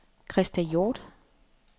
Krista Hjort